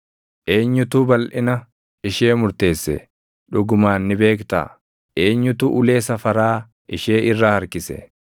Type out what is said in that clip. Eenyutu balʼina ishee murteesse? Dhugumaan ni beektaa? Eenyutu ulee safaraa ishee irra harkise?